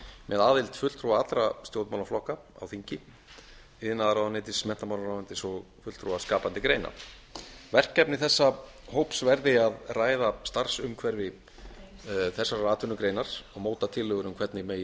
með aðild fulltrúa allra stjórnmálaflokka á þingi iðnaðarmálaráðuneytis menntamálaráðuneytis og fulltrúa skapandi greina verkefni þessa hóps verði að ræða starfsumhverfi þessarar atvinnugreinar og móta tillögur um hvernig megi